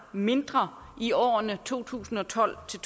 mindre i årene to tusind og tolv til